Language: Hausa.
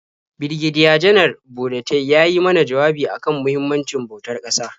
Birigediya-Janar Burutai ya yi mana jawabi a kan muhimmancin bautar ƙasa.